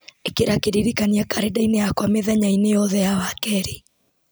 ĩkĩra kĩririkania karenda-inĩ yakwa mũthenya-inĩ yothe ya wakerĩ